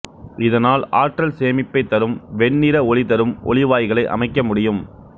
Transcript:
இதனால் ஆற்றல் சேமிப்பைத் தரும் வெண்ணிற ஒளிதரும் ஒளிவாய்களை அமைக்க முடியும்